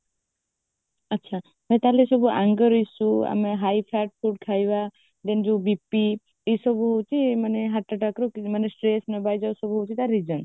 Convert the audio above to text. ଆଚ୍ଛା ତ ତାପରେ ସେ ଯୋଉ anger issue ଆମେ high fat food ଖାଇବା i mean ଯୋଉ BP ଏ ସବୁ ହେଉଛି ମାନେ heart attackର ଏତିକି ମାନେ stress ନେବା ଏଇ ଯୋଉ ହଉଛି ତା sign